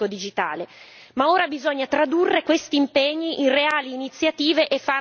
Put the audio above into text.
Ma ora bisogna tradurre questi impegni in reali iniziative, e farlo rapidamente.